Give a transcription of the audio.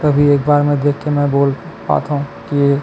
कभी एक बार में मई देख के बोल पाथव की--